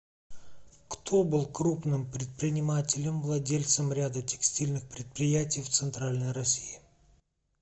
кто был крупным предпринимателем владельцем ряда текстильных предприятий в центральной россии